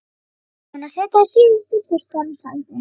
Búin að setja það síðasta í þurrkarann sagði hún.